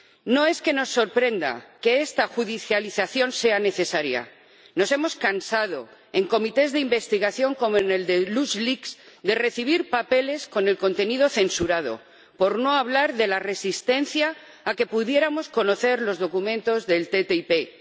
No es que nos sorprenda que esta judicialización sea necesaria nos hemos cansado en comisiones de investigación como en la de LuxLeaks de recibir papeles con el contenido censurado, por no hablar de la resistencia a que pudiéramos conocer los documentos de la ATCI.